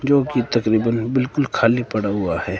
जो की तकरीबन बिल्कुल खाली पड़ा हुआ है।